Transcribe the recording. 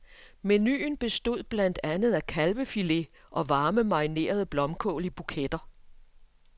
Menuen bestod blandt andet af kalvefilet og varme marinerede blomkål i buketter.